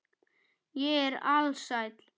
Ég er alsæll.